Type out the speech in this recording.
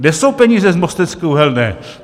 Kde jsou peníze z Mostecké uhelné?